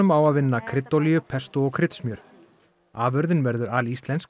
á að vinna kryddolíu pestó og kryddsmjör afurðin verður alíslensk